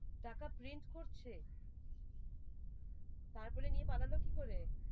টাকা print করছে তারপরে নিয়ে পালালো কি করে?